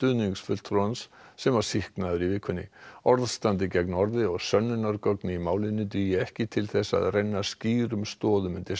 sem var sýknaður í vikunni orð standi gegn orði og sönnunargögn í málinu dugi ekki til þess að renna skýrum stoðum undir sekt hans